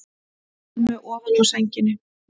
Elmu ofan á sænginni.